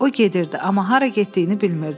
O gedirdi, amma hara getdiyini bilmirdi.